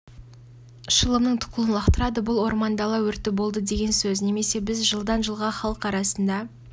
шылымның тұқылын лақтырады бұл ормандала өрті болды деген сөз немесе біз жылдан жылға халық арасында